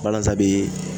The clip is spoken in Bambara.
Balazan bi